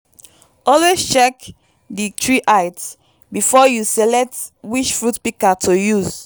always check di tree height before you select which fruit pika to use